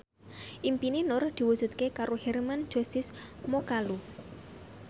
impine Nur diwujudke karo Hermann Josis Mokalu